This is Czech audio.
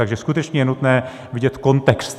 Takže skutečně je nutné vidět kontext.